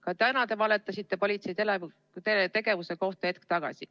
Ka täna, hetk tagasi te valetasite politsei tegevuse kohta.